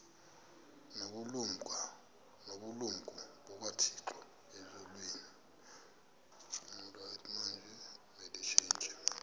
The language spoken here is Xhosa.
nobulumko bukathixo elizwini